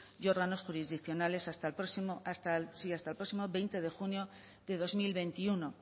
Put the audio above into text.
y órganos jurisdiccionales hasta el próximo veinte de junio de dos mil veintiuno